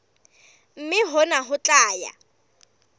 mme hona ho tla ya